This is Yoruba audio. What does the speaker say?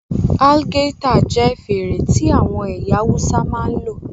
Algaita jẹ́ fèrè tí àwọn ẹ̀yà Awúsá máa ń lò